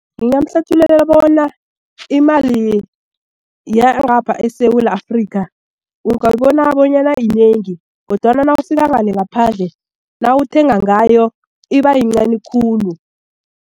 Ngingamhlathulula bona imali yangapha eSewula Afrika ungayibona bonyana yinengi kodwana nawufika ngale ngaphandle nawuthenga ngayo iba yincani khulu.